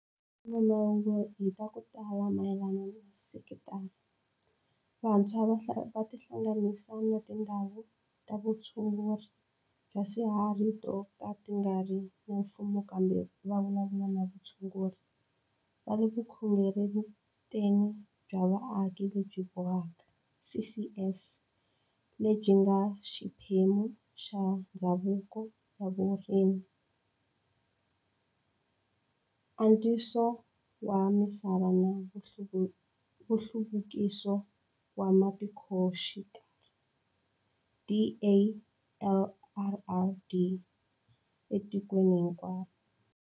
Mahungu hi xitalo mayelana na sekitara, vantshwa va nga tihlanganisa na tindhawu ta vutshunguri bya swiharhi to ka ti nga ri ta mfumo kumbe va vulavula na vatshunguri va le ka Vukorhokeri bya Vaaki lebyi Bohaka, CCS, lebyi nga xiphemu xa Ndzawulo ya Vurimi, Antswiso wa Misava na Nhluvukiso wa Matikoxikaya, DALRRD, etikweni hinkwaro.